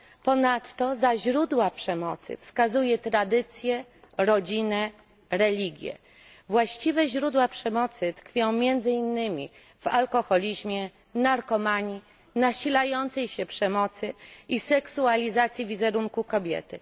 Ponadto za źródła przemocy wskazuje tradycję, rodzinę, religię. Właściwe źródła przemocy tkwią między innymi w alkoholizmie, narkomanii, nasilającej się przemocy i seksualizacji wizerunku kobiety.